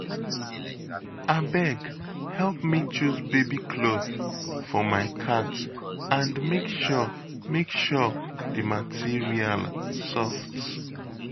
Abeg help me choose baby cloth for my cat and make sure make sure the material soft